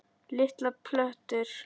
Litlar plötur